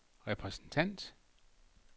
repræsentant